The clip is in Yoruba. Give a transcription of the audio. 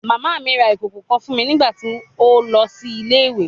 Mama mi ra ikoko kan fun mi nigbati o nlọ si ile-iwe